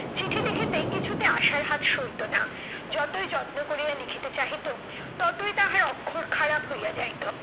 চিঠি লিখিতে কিছুতে আশার হাত সইতো না। যতই যত্ন করিয়া লিখিতে চাহিত, ততই তাহার অক্ষর খারাপ হইয়া যাইত।